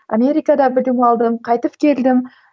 америкада білім алдым қайтып келдім